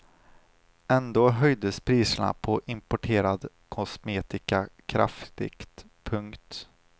Ändå höjdes priserna på importerad kosmetika kraftigt. punkt